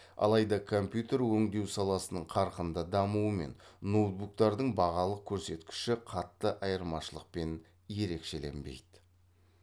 алайда компьютер өндеу саласының қарқынды дамуымен ноутбуктардың бағалық көрсеткіші қатты айырмашылықпен ерекшеленбейді